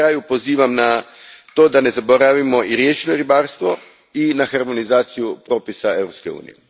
I na kraju pozivam na to da ne zaboravimo na riječno ribarstvo i na harmonizaciju propisa Europske unije.